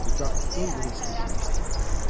Uzaq göy gurultusu kimi eşidilirdi.